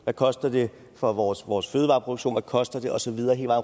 hvad koster det for vores vores fødevareproduktion hvad koster det og så videre hele